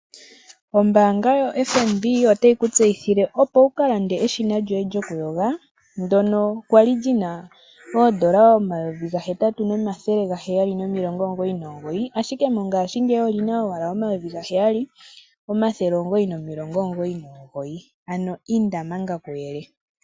Ombaanga yoFNB, otayi ku tseyithile opo wuka lande eshina lyoye lyoku yoga , ndyono kwali lina N$8 799 ashike mongashiingeyi olina owala N$7 999. Ano inda manga kuyele.